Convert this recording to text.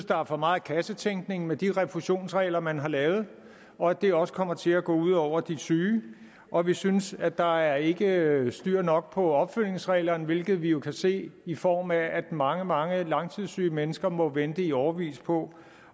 der er for meget kassetænkning med de refusionsregler man har lavet og at det også kommer til at gå ud over de syge og vi synes at der ikke er styr nok på opfølgningsreglerne hvilket vi jo kan se i form af at mange mange langtidssyge mennesker må vente i årevis på